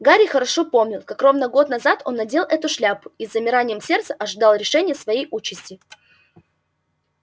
гарри хорошо помнил как ровно год назад он надел эту шляпу и с замиранием сердца ожидал решения своей участи